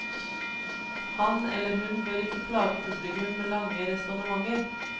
Han eller hun bør ikke plage publikum med lange resonnementer.